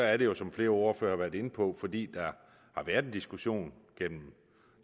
er det jo som flere ordførere har været inde på fordi der har været en diskussion gennem